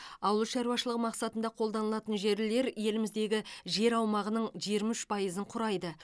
ауыл шаруашылы мақсатында қолданылатын жерлер еліміздегі жер аумағының жиырма үш пайызын құрайды